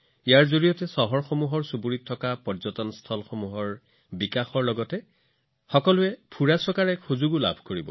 ইয়াৰ ফলত চুবুৰীত চহৰসমূহত স্থানীয় পৰ্যটনস্থলী বিকশিত হব আৰু মানুহবোৰে ঘূৰি ফুৰিবলৈ ঠাই পাব